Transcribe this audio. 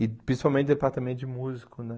E, principalmente, o departamento de músico, né?